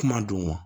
Kuma don wa